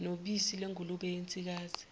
nobisi lwengulube yensikazi